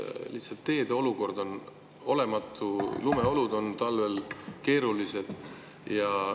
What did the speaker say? Lihtsalt teede olukord on, lumeolud on talvel keerulised.